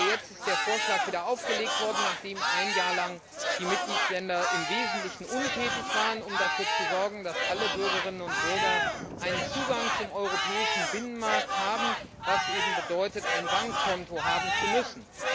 Jetzt ist der Vorschlag wiederaufgelegt worden, nachdem ein Jahr lang die Mitgliedstaaten im Wesentlichen untätig waren und es versäumt haben, dafür zu sorgen, dass alle Bürgerinnen und Bürger einen Zugang zum europäischen Binnenmarkt haben, was eben bedeutet, ein Bankkonto haben zu müssen.